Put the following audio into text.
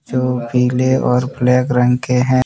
दो पीले और ब्लैक रंग के हैं।